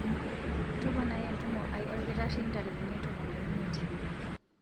toponai entumo aai olkitari ntarikini tomon o imiet